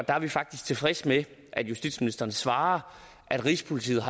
er vi faktisk tilfredse med at justitsministeren svarer at rigspolitiet